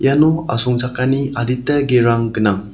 iano asongchakani adita gerang gnang.